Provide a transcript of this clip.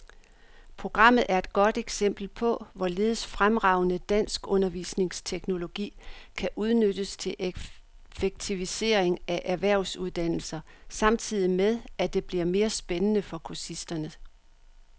Programmet er et godt eksempel på, hvorledes fremragende dansk undervisningsteknologi kan udnyttes til effektivisering af erhvervsuddannelser samtidig med, at det bliver mere spændende for kursisterne.